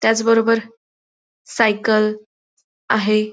त्याचबरोबर सायकल आहे.